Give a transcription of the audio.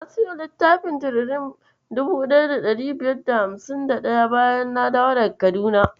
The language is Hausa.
Na siyo littafin tiririn 1551, bayan na dawo daga Kaduna.